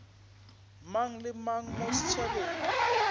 mang le mang mo setšhabeng